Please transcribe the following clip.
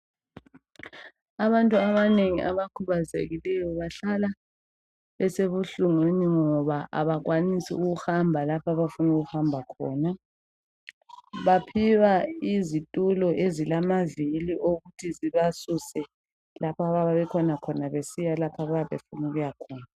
Abantu abanengi abakhubazekileyo bahlala besebuhlungwini ngoba abakwanisi ukuhamba lapha abafuna ukuhamba khona. Baphiwa izitulo ezilamavili okuthi sibasuse lapha abayabebekhona besiya lapha abayabe befuna ukuyakhona